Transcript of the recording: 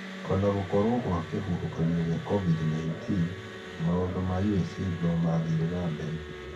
O na gũkorwo gwa kĩhuhũkania gĩa COVID-19, maũndũ wa USAID no marathie na mbere